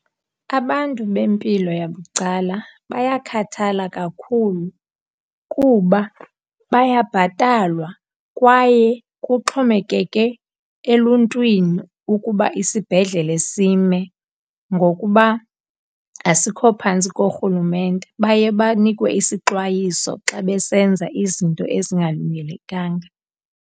Abantu bempilo yabucala bayakhathala kakhulu kuba bayabhatalwa kwaye kuxhomekeke eluntwini ukuba isibhedlele sime ngokuba asikho phantsi korhulumente. Baye banikwe isixwayiso xa besenza izinto ezingalungelekanga.